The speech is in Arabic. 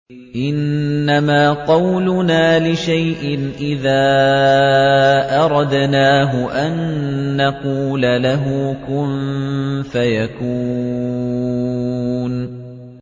إِنَّمَا قَوْلُنَا لِشَيْءٍ إِذَا أَرَدْنَاهُ أَن نَّقُولَ لَهُ كُن فَيَكُونُ